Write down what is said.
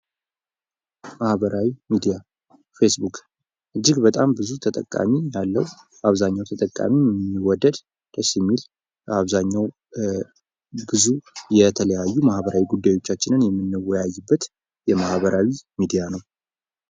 ማህበራዊ ሚዲያ ፌስ ቡክ እጅግ በጣም ብዙ ተጠቃሚ ያለው አብዛኛው ተጠቃሚ የሚወደድ፣ ደስ የሚል በአብዛኛው ጊዜ የተለያዩ ማህበራዊ ጉዳዮቻችንን የምንወያይበት የማህበራዊ ሚዲያ ነው።